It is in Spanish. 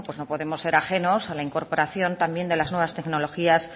no podemos ser ajenos a la incorporación también de las nuevas tecnologías